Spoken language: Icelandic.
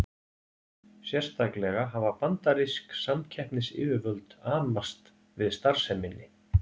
Sérstaklega hafa bandarísk samkeppnisyfirvöld amast við starfseminni.